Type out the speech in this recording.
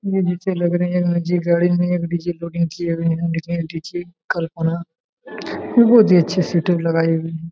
मुझे लग रहा है गाड़ी में डी.जे. लोडिंग किए हुए है बहुत ही अच्छी सेटअप लगाए है।